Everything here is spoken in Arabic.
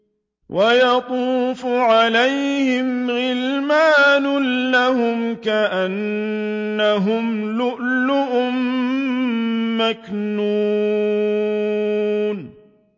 ۞ وَيَطُوفُ عَلَيْهِمْ غِلْمَانٌ لَّهُمْ كَأَنَّهُمْ لُؤْلُؤٌ مَّكْنُونٌ